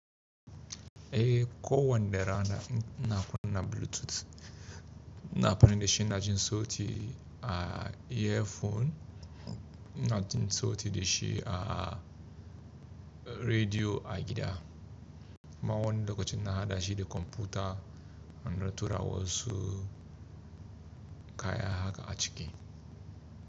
Eh ko wanɗe rana ina kunna bluetooth, na amfani da shi inq jin sauti a earphone, ina jin sauti da shi a radio a gida. Ma wani lokacin ina haɗashi da computer in ɗan tura wasu kaya haka a cike.